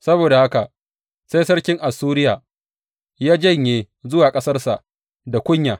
Saboda haka sai sarkin Assuriya ya janye zuwa ƙasarsa da kunya.